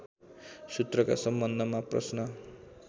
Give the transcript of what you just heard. सूत्रका सम्बन्धमा प्रश्न